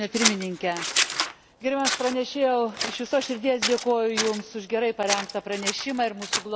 Gerbiamas pranešėjau, iš visos širdies dėkoju Jums už gerai parengtą pranešimą ir mūsų glaudų bendradarbiavimą.